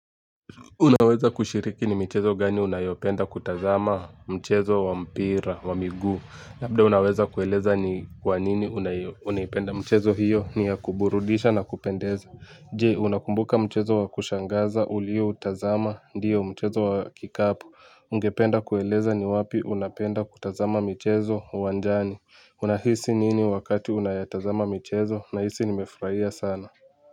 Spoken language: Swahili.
Unaweza kushiriki ni michezo gani unayopenda kutazama? Mchezo wa mpira wa miguu. Labda unaweza kueleza ni kwa nini unaipenda mchezo hiyo? Ni ya kuburudisha na kupendeza. Je, unakumbuka mchezo wa kushangaza ulioutazama? Ndiyo mchezo wa kikapu. Ungependa kueleza ni wapi unapenda kutazama michezo uwanjani? Unahisi nini wakati unayatazama michezo? Nahisi nimefurahia sana.